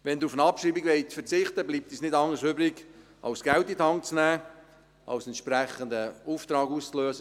Wenn Sie auf eine Abschreibung verzichten wollen, bleibt uns nichts anderes übrig, als Geld in die Hand zu nehmen, als einen entsprechenden Auftrag auszulösen.